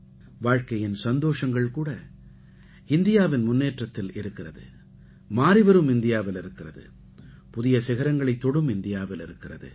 வாழ்க்கையின் சந்தோஷங்கள் கூட இந்தியாவின் முன்னேற்றத்தில் இருக்கிறது மாறிவரும் இந்தியாவில் இருக்கிறது புதிய சிகரங்களைத் தொடும் இந்தியாவில் இருக்கிறது